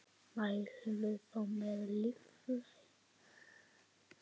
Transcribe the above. Mælirðu þá með lífrænu fæði?